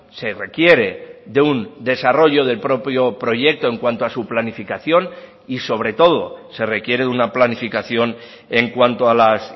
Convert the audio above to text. se requiere de un desarrollo del propio proyecto en cuanto a su planificación y sobre todo se requiere una planificación en cuanto a las